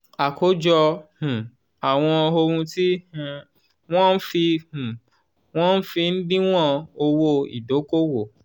àkójọ um àwọn ohun tí um wọ́n fi um wọ́n fi ń díwọ̀n owó ìdókòwò.